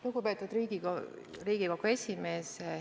Lugupeetud Riigikogu esimees!